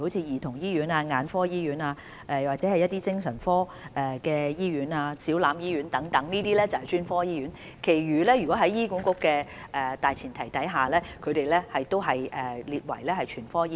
兒童醫院、眼科醫院及精神科醫院等均屬專科醫院，其他醫院在醫管局規劃的大前提下均列為全科醫院。